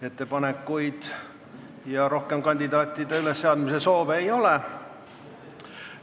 Ettepanekuid ja kandidaatide ülesseadmise soove rohkem ei ole.